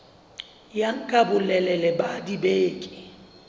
ya nka bolelele ba dibeke